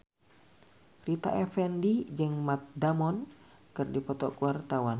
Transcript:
Rita Effendy jeung Matt Damon keur dipoto ku wartawan